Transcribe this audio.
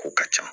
Kow ka ca